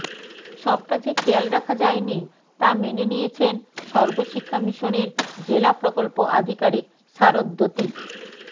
সবটা যে খেয়াল রাখা যায়নি তা মেনে নিয়েছেন সর্বশিক্ষা মিশনের জেলা প্রকল্প আধিকারিক শ্বারদ্বতী